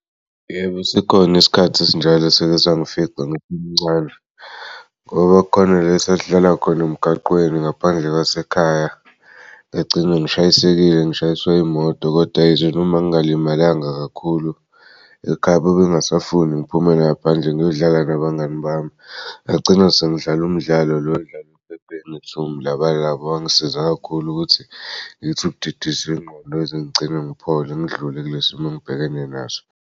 Yebo sikhon'isikhathi esinjalo esake sangifica ngisemncane ngoba kukhona la sasidlala khona emgaqweni ngaphandle kwasekhaya ngagcina ngishayisekile ngishayisw'imoto koda yize noma ngingalimalanga kakhulu ekhaya bebengasafundi ngiphumele ngaphandle ngiyodlala nabangani bami ngagcina sengidlala umdlalo lo odlalwa ephepheni okuthiwa umlabalaba. Wangisiza kakhulu ukuthi ngithi ukudidisa ingqondo ngize ngigcine ngiphole ngidlule kulesimo engibhekene naso.